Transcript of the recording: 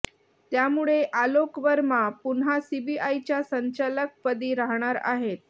त्यामुळे आलोक वर्मा पुन्हा सीबीआयच्या संचालकपदी राहणार आहेत